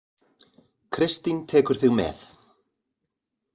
Kristín tekur þig með.